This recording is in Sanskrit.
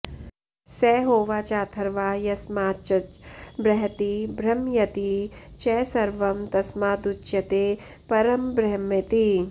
स होवाचाथर्वा यस्माच्च बृहति बृंहयति च सर्वं तस्मादुच्यते परंब्रह्मेति